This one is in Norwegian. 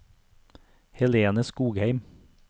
Helene Skogheim